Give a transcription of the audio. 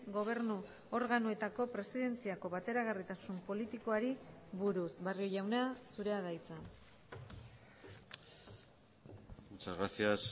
gobernu organoetako presidentziako bateragarritasun politikoari buruz barrio jauna zurea da hitza muchas gracias